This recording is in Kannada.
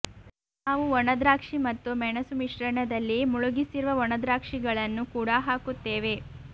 ನಾವು ಒಣದ್ರಾಕ್ಷಿ ಮತ್ತು ಮೆಣಸು ಮಿಶ್ರಣದಲ್ಲಿ ಮುಳುಗಿಸಿರುವ ಒಣದ್ರಾಕ್ಷಿಗಳನ್ನು ಕೂಡಾ ಹಾಕುತ್ತೇವೆ